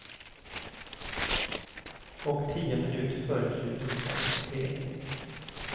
Och tio minuter före slutet kom kvitteringen.